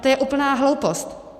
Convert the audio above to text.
A to je úplná hloupost.